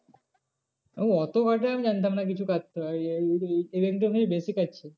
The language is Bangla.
ওই অত কাটে আমি জানতাম না কিছু বেশি কাটছে।